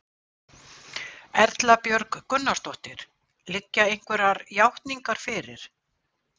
Erla Björg Gunnarsdóttir: Liggja einhverjar játningar fyrir?